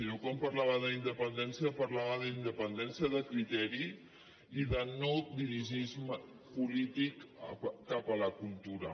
jo quan parlava d’independència parlava d’independència de criteri i de no dirigisme polític cap a la cultura